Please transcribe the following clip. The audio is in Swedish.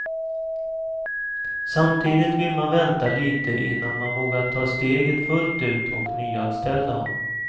Samtidigt vill man vänta lite innan man vågar ta steget fullt ut och nyanställa.